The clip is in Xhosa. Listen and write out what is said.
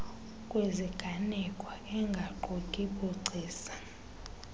kwiziganeko engaquki bugcisa